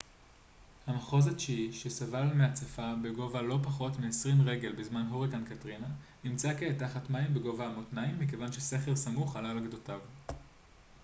המחוז התשיעי שסבל מהצפה בגובה לא פחות מ-20 רגל בזמן הוריקן קטרינה נמצא כעת תחת מים בגובה המותניים מכיוון שסכר סמוך עלה על גדותיו